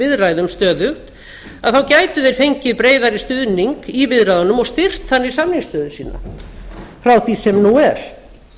viðræðum gætu þeir fengið breiðari stuðning í viðræðunum og styrkt þannig samningsstöðu sína frá því sem nú er